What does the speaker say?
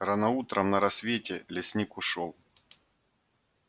рано утром на рассвете лесник ушёл